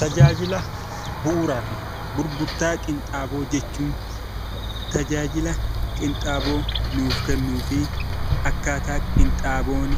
Tajaajila bu'uuraa fi gurgurtaa qinxaaboo jechuun tajaajila qinxaaboo nuuf kennuu fi akkaataa qinxaaboon